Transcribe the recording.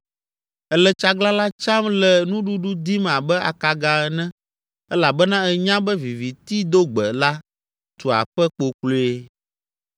Ele tsaglalã tsam le nuɖuɖu dim abe akaga ene elabena enya be vivitidogbe la tu aƒe kpokploe.